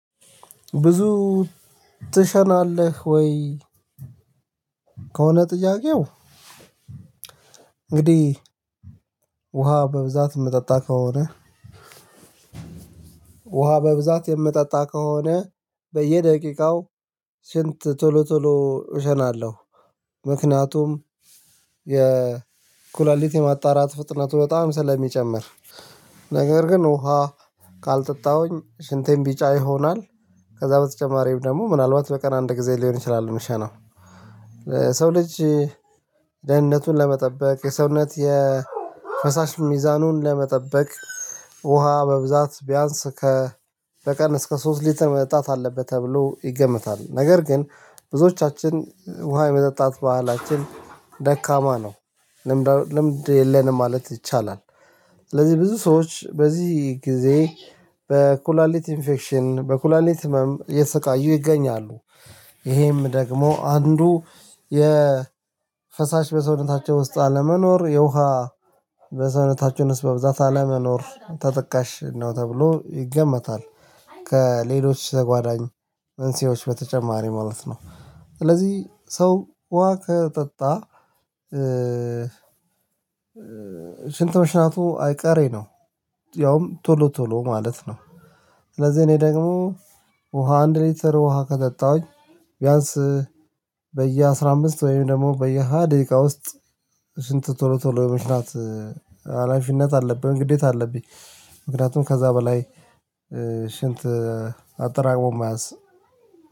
ብዙ ትሸናለህ ወይ? ከሆነ ጥያቄው እንግዲህ ውሃ በብዛት ምጠጣ ከሆነ በብዛት የምጠጣ ከሆነ በየደቂቃው ሽንት ቶሎ ቶሎ እሸናለሁ ምክንያቱም የኩላሊት የማጣራት ፍጥነቱ በጣም ስለሚጨምር። ነገር ግን ውሃ ካልጠጣሁኝ ሽንቴን ቢጫ ይሆናል። ከዛ በተጨማሪ ደግሞ ምናልባት በቀን አንድ ጊዜ ሊሆን ይችላል ምሸናው። ሰው ልጅ ደህንነቱን ለመጠበቅ የሰውነት የፈሳሽ ሚዛኑን ለመጠበቅ ውሃ በብዛት ቢያንስ ከ በቀን እስከ ሶስት ሊትር መጠጣት አለበት። ተብሎ ይገመታል ነገር ግን ብዙዎቻችን ውሃ የመጠጣት ባህላችን ደካማ ነው ልምድ የለንም ማለት ይቻላል። ስለዚህ ብዙ ሰዎች በዚህ ጊዜ በኩላሊት ኢንፌክሽን በኩላሊት ህመም እየተሰቃዩ ይገኛሉ። ይሄም ደግሞ አንዱ የፈሳሽ በሰውነታቸው ውስጥ አለመኖር የውሃ በሰውነታችን ዉስጥ በብዛት አለመኖር ተጠቃሽ ነው ተብሎ ይገመታል። ከሌሎች ተጓዳኝ መንሲዎች በተጨማሪ ማለት ነው። ስለዚህ ሰው ውሃ ከጠጣ ሽንት መሽናቱ አይቀሬ ነው። ያውም ቶሎ ቶሎ ማለት ነው። ስለዚህ እኔ ደግሞ ውሃ አንድ ሊትር ውሃ ከጠጣሁኝ ቢያንስ በየአስራአምስት ወይም ደግሞ በየሃያ ደቂቃ ውስጥ ሽንት ቶሎ ቶሎ የመሽናት ሀላፊነት አለብኝ ግዴታ አለብኝ። ምክንያቱም ከዛ በላይ ሽንት አጠራቅሞ መያዝ